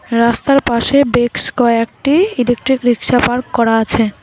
রাস্তার পাশে বেক্স কয়েকটি ইলেকট্রিক রিক্সা পার্ক করা আছে।